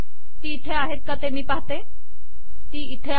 ती इथे आहेत का ते मी पहाते ती इथे आहेत